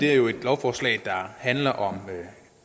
lovforslag der handler om